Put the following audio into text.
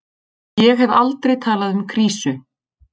Ég hef aldrei talað um krísu.